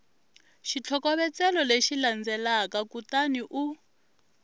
xitlhokovetselo lexi landzelaka kutani u